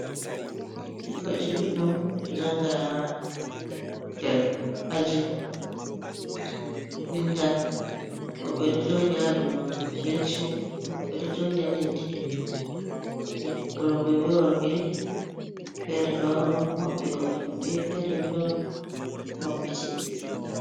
Ɓikkoyji ɗuɗɗum ɗo jannga nder aji ɗo vinda ,woɓɓe ɗo jooɗi haa dow benci ,woɓɓe ɗo jooɗi haa leddi .Rowɓe be worɓe ,feere ɗo maɓɓi hoore maɓɓe, feere bo ɗo mabbiti.